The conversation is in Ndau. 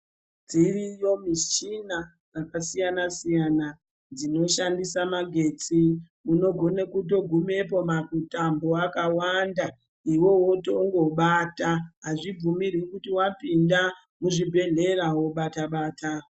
Dziriyo mushina dzakasiyana-siyana dzinoshandisa magetsi. Unogona kutogumepo makutambo akawanda iveve votongo bata. Hazvibvumirwi kuti vapinda muzvibhedhlera vobata-bata.